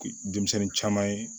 Denmisɛnnin caman ye